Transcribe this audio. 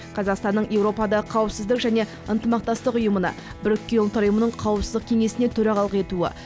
қазақстанның еуропада қауіпсіздік және ынтымақтастық ұйымына біріккен ұлттар ұйымының қауіпсіздік кеңесіне төрағалық етуі